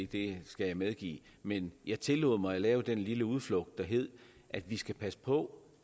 det skal jeg medgive men jeg tillod mig at lave den lille udflugt der hed at vi skal passe på